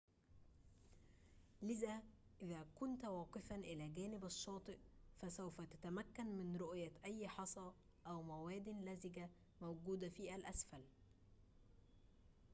لذا إذا كنت واقفاً إلى جانب الشّاطئ فسوف تتّمكن من رؤية أي حصى أو موادٍ لزجةٍ موجودةٍ في الأسفل